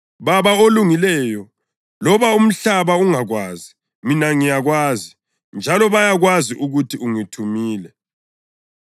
Baba olungileyo, loba umhlaba ungakwazi, mina ngiyakwazi, njalo bayakwazi ukuthi ungithumile.